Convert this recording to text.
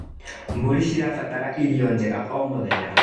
Mbũrĩ cirabatara irio njega o mũthenya.